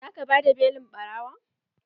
Za ka bada belin ɓarawon?